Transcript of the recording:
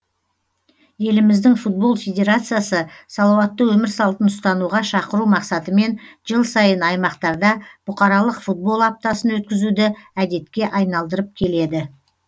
еліміздің футбол федерациясы салауатты өмір салтын ұстануға шақыру мақсатымен жыл сайын аймақтарда бұқаралық футбол аптасын өткізуді әдетке айналдырып келеді